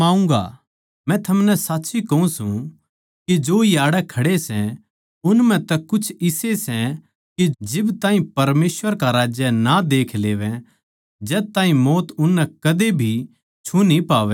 मै थमनै साच्ची कहूँ सूं के जो याड़ै खड़े सै उन म्ह तै कुछ इसे सै के जिब ताहीं परमेसवर का राज्य ना देख लेवैं जद ताहीं मौत उननै कदे छु भी न्ही पावैगी